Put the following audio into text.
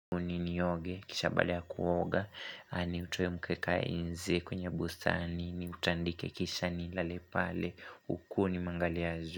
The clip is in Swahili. Nini oge, kisha baada ya kuoga, ni utoe mkeka inze kwenye bustani niutandike kisha nilale pale, uku nimeangalia zu.